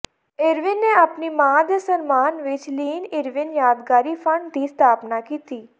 Irwin ਨੇ ਆਪਣੀ ਮਾਂ ਦੇ ਸਨਮਾਨ ਵਿਚ ਲੀਨ ਇਰਵਿਨ ਯਾਦਗਾਰੀ ਫੰਡ ਦੀ ਸਥਾਪਨਾ ਕੀਤੀ